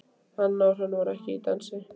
Anna og Hrönn voru ekki í dansi.